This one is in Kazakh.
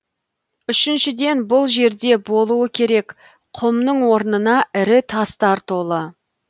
үшіншіден бұл жерде болуы керек құмның орнына ірі тастар толы